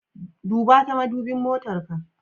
Duba ta madubin motar ka.